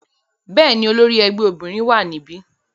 Bẹ́ẹ̀ni, olori ẹgbẹ obinrin wa nibi.